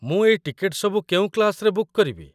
ମୁଁ ଏଇ ଟିକେଟ ସବୁ କେଉଁ କ୍ଲାସ୍‌ରେ ବୁକ୍ କରିବି?